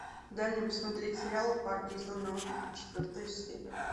дай мне посмотреть сериал парки и зоны отдыха четвертая серия